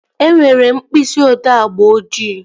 E nwere mkpịsị odee agba ojii